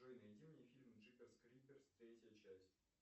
джой найди мне фильм джиперс криперс третья часть